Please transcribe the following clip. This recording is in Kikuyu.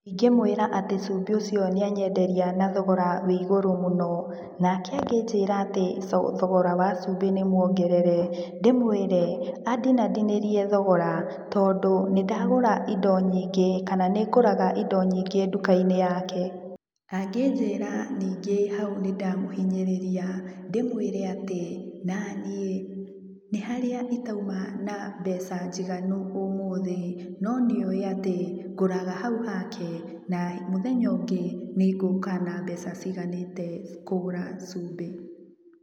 Ingĩmũĩra atĩ cumbĩ ũcio nĩanyenderia na thogora wĩ igũrũ mũno, nake angĩnjĩra atĩ, thogora wa cumbĩ nĩmuongerere. Ndimũire, andinandinĩrie thogora, tondũ nĩndagũra indo nyingĩ kana nĩ ngũraga indo nyingĩ nduka-inĩ yake. Angĩnjĩra ningĩ hau nĩndamũhinyĩrĩria, ndĩmũrĩe atĩ, naniĩ, nĩharĩa, ,itauma na mbeca njiganu ũmũthĩ, no nĩoĩ atĩ, ngũraga haũ hake, na mũthenya ũngĩ nĩngũka na mbeca ciganĩte kũgũra cumbĩ.